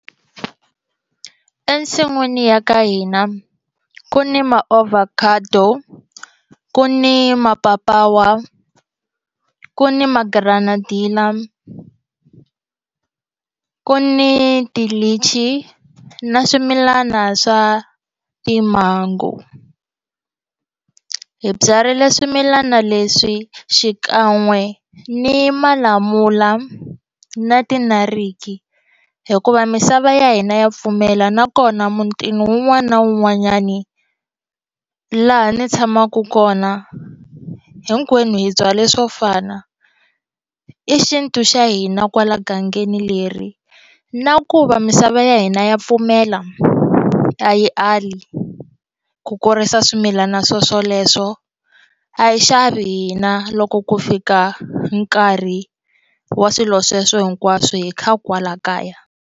Ensin'wini ya ka hina ku ni maovhakhado ku ni mapapawa ku ni ma granadilla ku ni tilichi na swimilana swa ti-mango hi byarile swimilana leswi xikan'we ni malamula na tinariki hikuva misava ya hina ya pfumela nakona mutini wun'wani na wun'wanyani laha ni tshamaka kona hinkwenu hi byala swo fana i xintu xa hina kwala gangeni leri na ku va misava ya hina ya pfumela ku a yi ali ku kurisa swimilana swoswoleswo a hi xavi hina loko ku fika nkarhi wa swilo sweswo hinkwaswo hi kha kwala kaya.